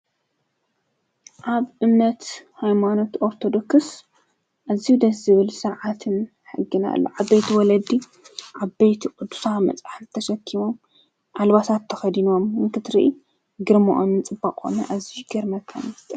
ኣብ እምነት ኃይማኖት ኦርተዶክስ እዙኅ ደ ዝብል ሰዓትን ሕግናኣሎ ዓበይቲ ወለዲ ዓበይቲ ቕዱፋ መጻሕቲ ዘተሸኪሞም ዓልባሳትተኸዲኖዎም እንክድሪኢ ግርምዖምን ጽበቕቖነ እዙሽገር መከንስተ።